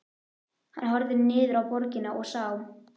Hann horfði niður á borgina og sá